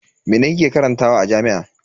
Mene kike karantawa a jami'a?